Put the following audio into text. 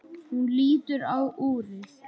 Hún lítur á úrið.